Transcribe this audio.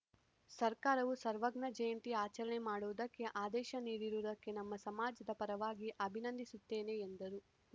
ಸರ್ಕಾರವು ಸರ್ವಜ್ಞ ಜಯಂತಿ ಆಚರಣೆ ಮಾಡುವುದಕ್ಕೆ ಆದೇಶ ನೀಡಿರುವುದಕ್ಕೆ ನಮ್ಮ ಸಮಾಜದ ಪರವಾಗಿ ಅಭಿಂದಿಸುತ್ತೇನೆ ಎಂದರು